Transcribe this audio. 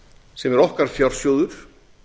sem er okkar fjársjóður